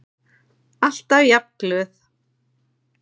Alltaf jafn glöð.